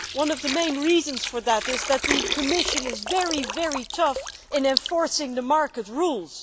One of the main reasons for that is that the Commission is very tough in enforcing the market rules.